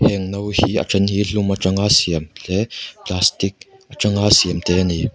heng no hi a then hi hlum aṭanga siam tle plastic aṭanga siam te an ni.